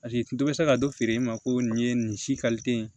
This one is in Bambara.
Paseke n to bɛ se ka don feere in ma ko nin ye nin si ye